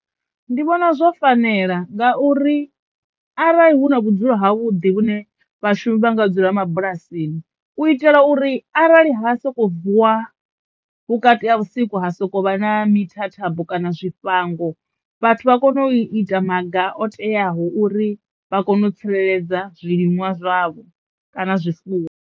Ndi vhona zwo fanela ngauri arali hu na vhudzulo ha vhuḓi vhune vhashumi vha nga dzula mabulasini u itela uri arali ha soko vuwa vhukati ha vhusiku ha sokou vha na mithathambo kana zwi tshifhango vhathu vha kono u ita maga o teaho uri vha kone u tsireledza zwiliṅwa zwavho kana zwifuwo.